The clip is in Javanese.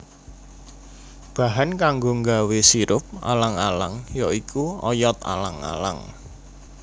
Bahan kanggo nggawé sirup alang alang ya iku oyot alang alang